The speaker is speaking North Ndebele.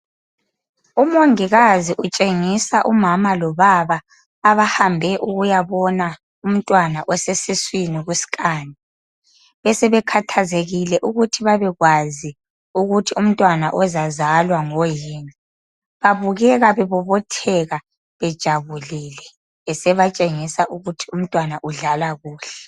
Umongikazi utshengisa umama lobaba abahambe ukuyabona umntwana osesiswini kuskani, besebekhathazekile ukuthi babekwazi ukuthi umntwana ozazalwa ngoyini. Babukeka bebobotheka bejabulile esebatshengisa ukuthi umntwana udlala kuhle.